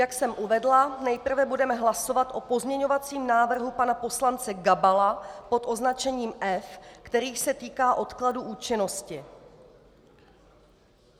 Jak jsem uvedla, nejprve budeme hlasovat o pozměňovacím návrhu pana poslance Gabala pod označením F, který se týká odkladu účinnosti.